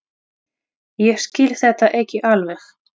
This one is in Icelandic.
Ég skil þetta ekki alveg.